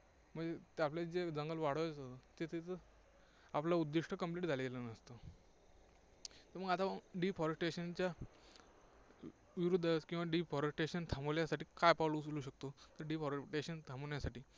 म्हणजे ते आपल्याला जे जंगल वाढवायचं होतं, ते आपलं उद्दिष्ट्य complete झालेलं नसतं. तर मग आता मग deforestation च्या विरुद्ध किंवा deforestation थांबवण्यासाठी काय पावलं उचलू शकतो, ते deforestation थांबवण्यासाठी.